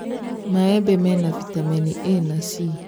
Maembe mena bitameni A na C